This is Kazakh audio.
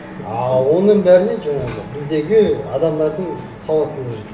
а оның бәріне жаңағы біздегі адамдардың сауаттылығы жүр